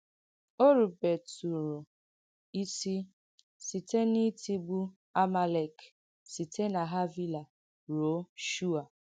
Ò rubètùrụ̀ isì site n’ìtìgbù Amàlek síte ná Hàvìlà ruò Shùa.